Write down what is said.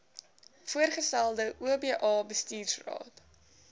voorgestelde oba bestuursraad